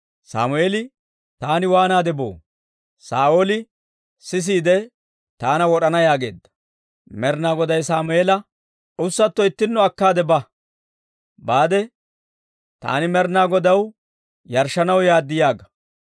Sammeeli, «Taani waanaade boo? Saa'ooli sisiide taana wod'ana» yaageedda. Med'inaa Goday Sammeela, «Ussatto ittinno akka baade, ‹Taani Med'inaa Godaw yarshshanaw yaad› yaaga.